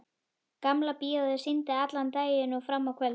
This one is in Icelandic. Gamla bíóið sýndi allan daginn og fram á kvöld.